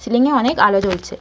Ceiling -এ অনেক আলো জ্বলছে ।